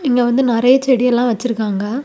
இங்க வந்து நறைய செடி எல்லாம் வச்சிருக்காங்க.